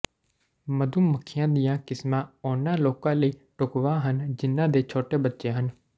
ਮਧੂ ਮੱਖੀਆਂ ਦੀਆਂ ਕਿਸਮਾਂ ਉਹਨਾਂ ਲੋਕਾਂ ਲਈ ਢੁਕਵਾਂ ਹਨ ਜਿਨ੍ਹਾਂ ਦੇ ਛੋਟੇ ਬੱਚੇ ਹਨ